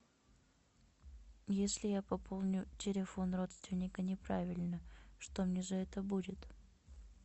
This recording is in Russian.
если я пополню телефон родственника неправильно что мне за это будет